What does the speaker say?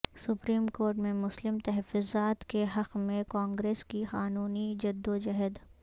supreme court میں مسلم تحفظات کے حق میں کانگریس کی قانونی جدوجہد